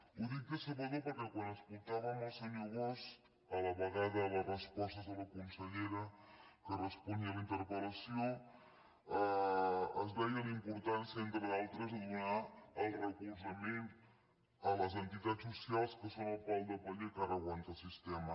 ho dic decebedor perquè quan escoltàvem el senyor bosch a la vegada les respostes de la consellera que responia a la interpel·lació es veia la importància entre d’altres de donar el recolzament a les entitats socials que són el pal de paller que ara aguanta el sistema